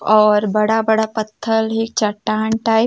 और बड़ा-बड़ा पत्थर है चट्टान टाइप --